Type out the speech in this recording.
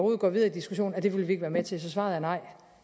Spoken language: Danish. går videre i diskussionen at det vil vi ikke være med til så svaret er nej